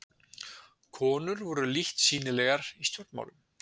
Konur voru lítt sýnilegar í stjórnmálum.